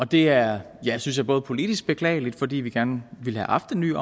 det er synes jeg både politisk beklageligt fordi vi gerne ville have haft den nye